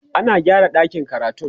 ana gyara ɗakin karatun